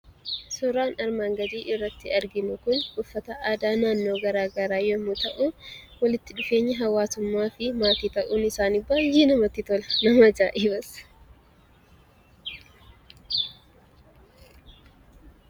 Suuraan armaan gadii irratti arginu Kun, uffata aadaa naannoo garaagaraa yemmuu ta'u, walitti dhufeenyi hawaasummaa fi maatii ta'uun isaanii baayyee namatti tola. nama ajaa'ibas.